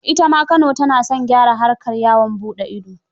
Ita ma Kano ta na son gyara harkar yawaan buɗe ido.